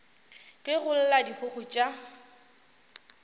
ge go lla dikgogo tša